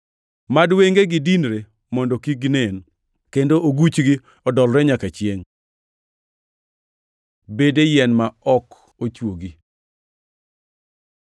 Mad wengegi dinre mondo kik ginen, kendo oguchgi odolre nyaka chiengʼ.” + 11:10 \+xt Zab 69:22,23\+xt* Bede yien ma ok ochwogi